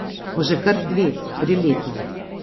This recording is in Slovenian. Bo že kar dve, tri leta.